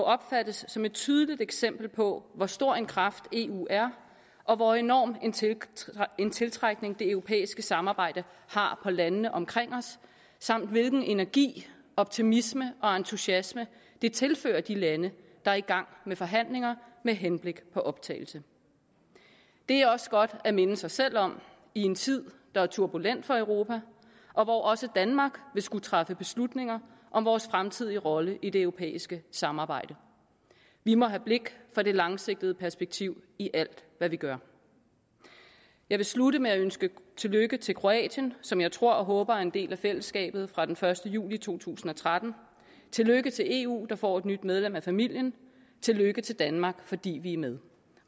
opfattes som et tydeligt eksempel på hvor stor en kraft eu er og hvor enorm en tiltrækning tiltrækning det europæiske samarbejde har på landene omkring os samt hvilken energi optimisme og entusiasme det tilfører de lande der er i gang med forhandlinger med henblik på optagelse det er også godt at minde sig selv om i en tid der er turbulent for europa og hvor også danmark vil skulle træffe beslutninger om vores fremtidige rolle i det europæiske samarbejde vi må have blik for det langsigtede perspektiv i alt hvad vi gør jeg vil slutte med at ønske tillykke til kroatien som jeg tror og håber er en del af fællesskabet fra den første juli to tusind og tretten tillykke til eu der får et nyt medlem af familien tillykke til danmark fordi vi er med